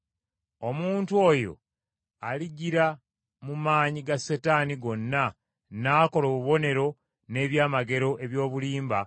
Omuntu oyo alijjira mu maanyi ga Setaani gonna n’akola obubonero n’eby’amagero, eby’obulimba,